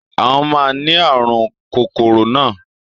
Àwọn máa ni àrùn kórónà.